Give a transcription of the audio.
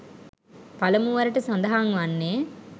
පළමුවරට සඳහන් වන්නේ